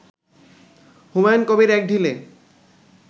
হুমায়ুন কবির এক ঢিলে